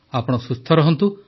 ଆପଣ ସୁସ୍ଥ ରହନ୍ତୁ